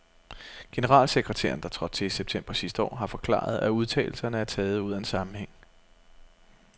Generalsekretæren, der trådte til i september sidste år, har forklaret, at udtalelserne er taget ud af en sammenhæng.